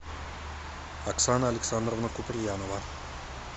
оксана александровна куприянова